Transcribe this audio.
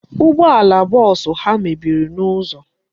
Ụgbọala bọọsụ ha mebiri n'ụzọ.